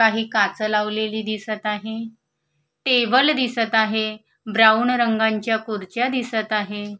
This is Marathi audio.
काच लावलेली दिसत आहे टेबल दिसत आहे ब्राऊन रंगांच्या खुर्च्या दिसत आहे.